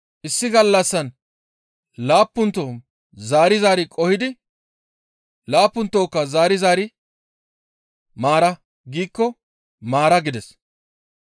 Issi gallassan laappunto zaari zaari qohidi laappuntokka zaari zaari, ‹Maara› giikko maara» gides.